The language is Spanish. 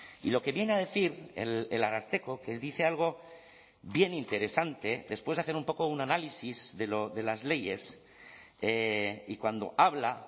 y lo que viene a decir el ararteko que dice algo bien interesante después de hacer un poco un análisis de las leyes y cuando habla